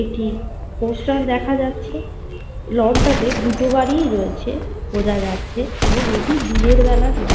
একটি পোস্টার দেখা যাচ্ছে। লন -টা তে দুটো গাড়িই রয়েছে বোঝা যাচ্ছে। এবং এটি দিনের বেলা দৃ--